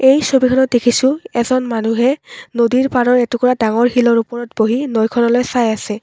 এই ছবিখনত দেখিছোঁ এজন মানুহে নদীৰ পাৰৰ এটুকুৰা ডাঙৰ শিলৰ ওপৰত বহি নৈখনলৈ চাই আছে।